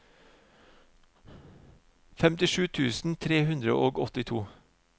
femtisju tusen tre hundre og åttito